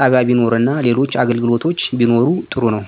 ጣቢያ ቢኖር እና ሌሎች አገልግሎቶች ቢኖሩ ጥሩ ነው